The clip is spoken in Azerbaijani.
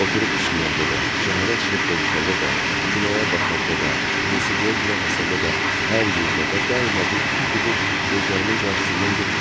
Oturub işləyəndə də, şəhərə çıxıb gəzişəndə də, kinoya baxanda da, musiqiyə qulaq asanda da, hər yerdə və daima bu iki fiqur gözlərimin qarşısından getmirdi.